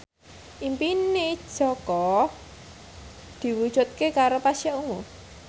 impine Jaka diwujudke karo Pasha Ungu